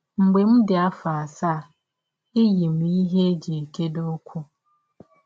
Mgbe m dị m afọ asaa, eyi m ihe e ji ekegide ụkwụ